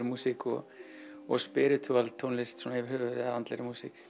músík og og tónlist svona yfir höfuð eða andlegri músík